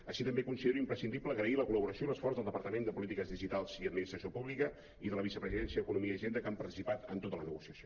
així també considero imprescindible agrair la col·laboració i l’esforç del depar·tament de polítiques digitals i administració pública i de la vicepresidència eco·nomia i hisenda que han participat en tota la negociació